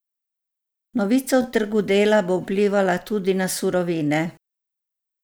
Novica o trgu dela bo vplivala tudi na surovine.